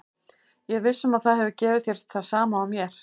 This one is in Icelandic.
Ég er viss um að það hefur gefið þér það sama og mér.